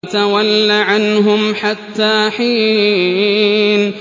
وَتَوَلَّ عَنْهُمْ حَتَّىٰ حِينٍ